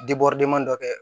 dɔ kɛ